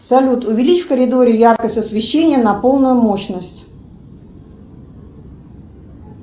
салют увеличь в коридоре яркость освещения на полную мощность